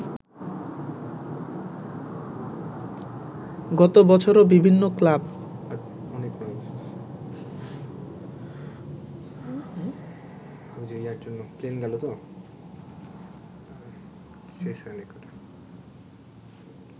গত বছরও বিভিন্ন ক্লাব